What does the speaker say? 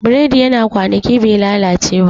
Bread yana kwanaki bai lalace ba